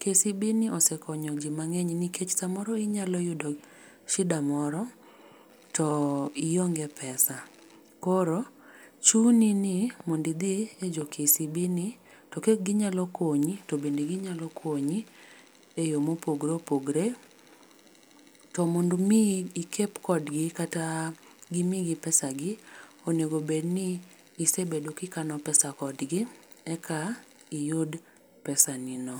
KCB ni osekonyo ji mang'eny nikech samoro inyalo yudo sida moro to ionge pesa koro chuni ni mondo idhi e jo KCB ni to ka ginyalo konyi to bende ginyalo konyi eyo mopogore opogore. To mondo mi ikep kodgi kata gimiyi pesagi onego bedni isebedo kikano pesa kodgi eka iyud pesani no